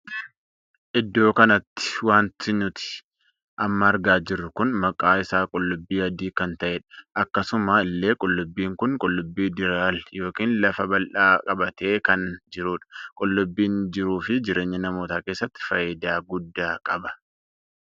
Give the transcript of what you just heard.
Iddoo kanatti wanti nuti amma argaa jirru kun maqaa isaa qullubbii adii kan ta'eedha. akkasuma illee qullubbiin kun qullubbii dirreeal ykn lafa bal'aa qabatee kan jiruudha. qullubbiin jiruu fi jireenya namoota keessatti faayidaa guddaa qaba.